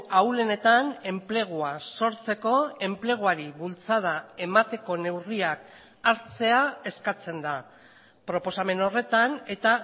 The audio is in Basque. ahulenetan enplegua sortzeko enpleguari bultzada emateko neurriak hartzea eskatzen da proposamen horretan eta